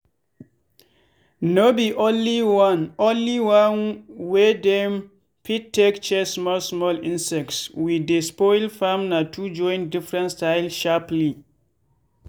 no be only one only one way dem fit take chase small small insects wey dey spoil farm na to join different style sharply.